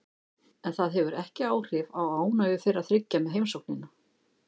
En það hefur ekki áhrif á ánægju þeirra þriggja með heimsóknina.